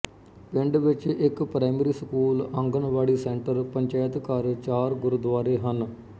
ਪਿੰਡ ਵਿੱਚ ਇੱਕ primary school anganwadi centre panchayat ਘਰ ਚਾਰ ਗੁਰੂਦੁਆਰੇ ਹਨ